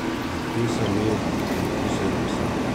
Vrti se mi in usedem se.